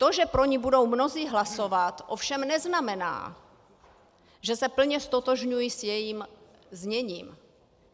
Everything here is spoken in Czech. To, že pro ni budou mnozí hlasovat, ovšem neznamená, že se plně ztotožňují s jejím zněním.